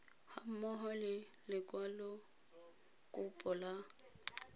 ga mmogo le lekwalokopo la